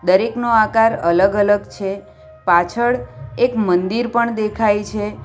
દરેકનો આકાર અલગ-અલગ છે પાછળ એક મંદિર પણ દેખાય છે.